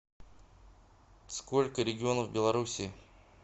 сколько регионов в белоруссии